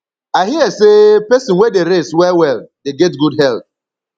i hear sey pesin wey dey rest wellwell dey get good health